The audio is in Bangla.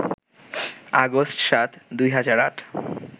আগস্ট ৭, ২০০৮